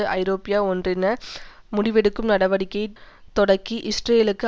ஐநாஐரோப்பிய ஒன்றின முடிவெடுக்கும் நடவடிக்கையை தொடக்கி இஸ்ரேலுக்கு